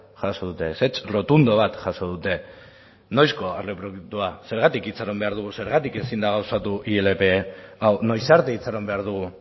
jaso dute ezetz errotundo bat jaso dute noizko aurreproiektua zergatik itxaron behar dugu zergatik ezin da gauzatu ilp hau noiz arte itxaron behar dugu